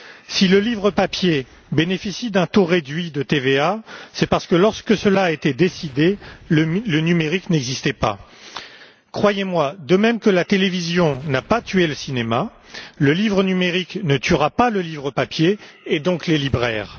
Si le livre papier bénéficie d'un taux réduit de TVA, c'est parce que, lorsque cela a été décidé, le numérique n'existait pas. Croyez moi, de même que la télévision n'a pas tué le cinéma, le livre numérique ne tuera pas le livre papier et donc les libraires.